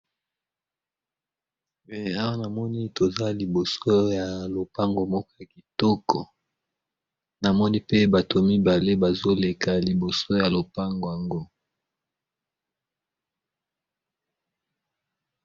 Awa na moni toza liboso ya lopango moko ya kitoko na moni pe bato mibale bazo leka liboso ya lopango yango .